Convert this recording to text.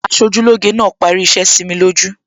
Aṣojúlóge náà parí iṣẹ́ sími lójú